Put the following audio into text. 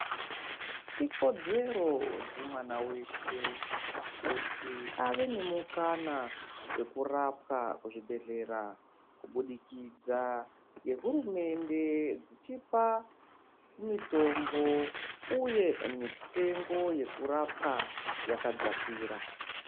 Ikodzero dzemwana weshe kuti ave nemukana wekurapwa kuzvibhedhleya kubudikidza ngehurumende dzichioa mitombo uye mitengo yekurapwa yakadzakira.